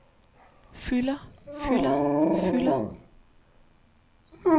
fylder fylder fylder